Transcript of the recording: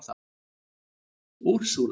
Úrsúla